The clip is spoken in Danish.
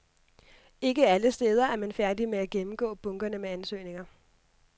Ikke alle steder er man færdige med at gennemgå bunkerne med ansøgninger.